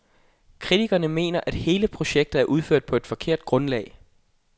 Kritikerne mener at hele projektet er udført på et forkert grundlag.